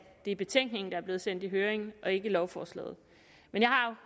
det er betænkningen der er blevet sendt i høring og ikke lovforslaget men jeg har